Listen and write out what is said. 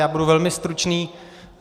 Já budu velmi stručný.